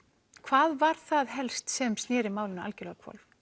hvað var það helst sem snéri málinu algerlega á hvolf